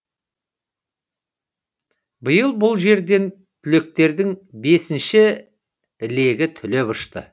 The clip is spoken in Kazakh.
биыл бұл жерден түлектердің бесіншісі легі түлеп ұшты